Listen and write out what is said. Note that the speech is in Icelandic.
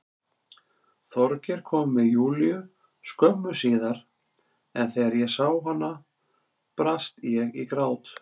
Þorgeir kom með Júlíu skömmu síðar en þegar ég sá hana brast ég í grát.